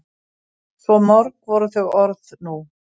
Svo mörg voru þau orð nú.